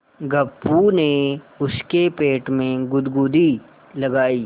गप्पू ने उसके पेट में गुदगुदी लगायी